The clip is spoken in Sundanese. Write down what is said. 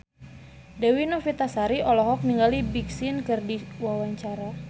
Dewi Novitasari olohok ningali Big Sean keur diwawancara